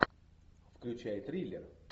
включай триллер